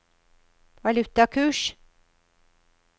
valutakurs